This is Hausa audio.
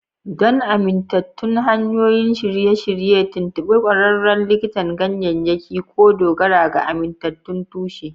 Don amintattun hanyoyin shirye-shirye, tuntuɓi ƙwararren likitan ganyayyaki ko dogara ga amintattun tushe.